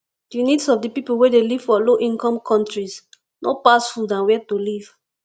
di needs of di pipo wey dey live for low income countries no pass food and where to live